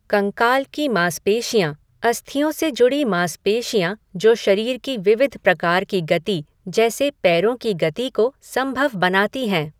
कंकाल की मांसपेशियाँः अस्थियों से जुड़ी मांसपेशियाँ जो शरीर की विविध प्रकार की गति जैसे पैरों की गति को संभव बनाती हैं।